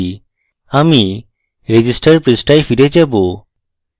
আমি register পৃষ্ঠায় ফিরে যাবো